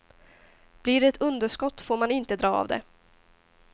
Blir det ett underskott får man inte dra av det.